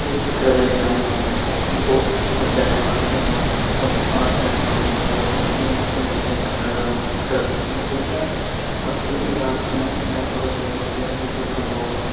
ಈ ಚಿತ್ರದಲ್ಲಿ ನಾವು ಕುವೆಂಪು ಉದ್ಯಾನವನ ಎಂಬ ಒಂದ್ ಆರ್ಚ್ ಅನ್ನು ನೋಡಬಹುದು ಈ ಆರ್ಚಿನ ಮೇಲೆ ಕನ್ನಡ ಅಕ್ಷರದಲ್ಲಿ ಬರೆದಿದ್ದಾರೆ ಮತ್ತು ಈ ಆರ್ಚಿನ ಎಡಭಾಗದಲ್ಲಿ ಒಂದು ವಿದ್ಯುತ್ ಕಂಬವನ್ನು --